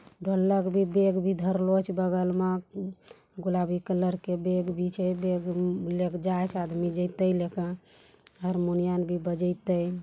ढोलक भी बेग भी धरलो हा बगल मा गुलाबी कलर के बेग भी छे बेग -ऊग ले जाइते आदमी हारमोनियम भी बजाइते |